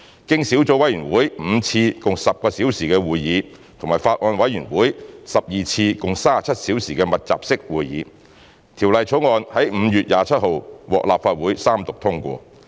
經小組委員會5次共10小時會議及法案委員會12次共37小時的密集式會議，《條例草案》在5月27日獲立法會三讀通過。